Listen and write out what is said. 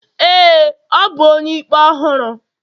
ee, ọ bu onye-ikpe ọhụrụ.